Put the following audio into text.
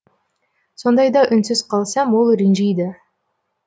сондайда үнсіз қалсам ол ренжиді